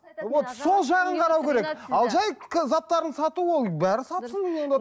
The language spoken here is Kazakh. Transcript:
вот сол жағын қарау керек ал жай заттарын сату ол бәрін сатсын онда